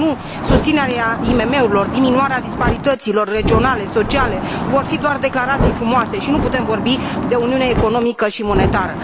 Dacă nu, susținerea IMM urilor, diminuarea disparităților regionale, sociale vor fi doar declarații frumoase, și nu putem vorbi de uniune economică și monetară.